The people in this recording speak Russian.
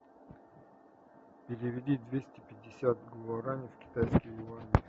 переведи двести пятьдесят гуарани в китайские юани